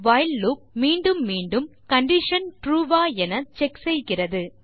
while loop மீண்டும் மீண்டும் condition true வா என செக் செய்கிறது